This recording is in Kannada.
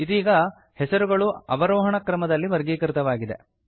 ಇದೀಗ ಹೆಸರುಗಳು ಅವರೋಹಣ ಕ್ರಮದಲ್ಲಿ ವರ್ಗೀಕೃತವಾಗಿದೆ